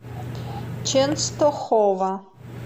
ченстохова